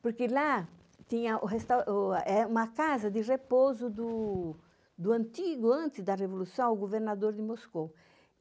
Porque lá tinha uma casa de repouso do antigo, antes da Revolução, o governador de Moscou.